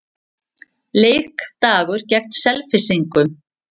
Leikdagur gegn Selfyssingum.